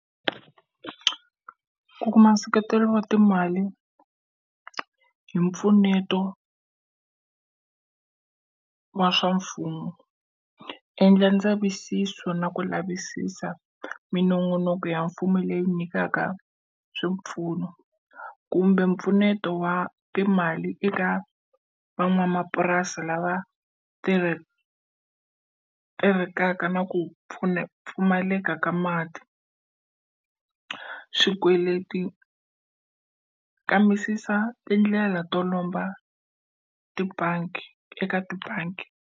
Ku kuma nseketelo wa timali hi mpfuneto wa swa mfumo. Endla ndzavisiso na ku lavisisa minongonoko ya mfumo leyi nyikaka swipfuno kumbe mpfuneto wa timali eka van'wamapurasi lava na ku pfumaleka ka mati. Swikweleti, kambisisa tindlela to lomba tibangi eka tibangi.